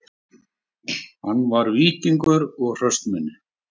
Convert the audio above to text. Hann var víkingur og hraustmenni